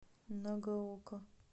нагаока